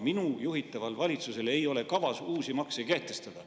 Minu juhitaval valitsusel ei ole kavas uusi makse kehtestada.